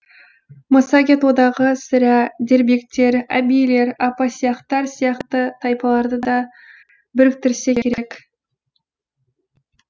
массагет одағы сірә дербиктер әбийлер апасиақтар сияқты тайпаларды да біріктірсе керек